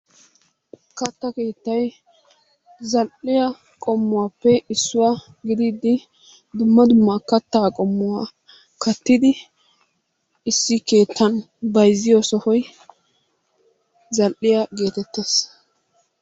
Katta keettay zal"iyaa qommuwaappe issuwaa gidiidi dumma dumma kattaa qommuwaa kaattidi issi keettan bayzziyoo sohoy zal"iyaa geetettees.